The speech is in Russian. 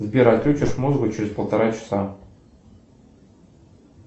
сбер отключишь музыку через полтора часа